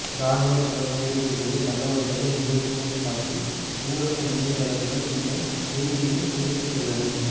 இராணுவப் புலனாய்வுப் பிரிவு தகவல்களை மேற்கோள் காட்டி ஊடக இணையத்தளங்கள் இந்த செய்தியினைக் குறிப்பிட்டுள்ளன